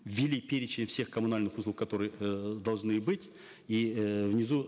ввели перечень всех коммунальных услуг которые э должны быть и э внизу